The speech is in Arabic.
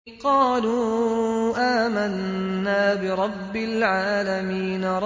قَالُوا آمَنَّا بِرَبِّ الْعَالَمِينَ